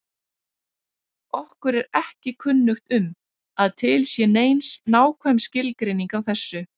Okkur er ekki kunnugt um að til sé nein nákvæm skilgreining á þessu.